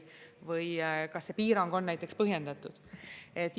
Või kas see piirang on põhjendatud?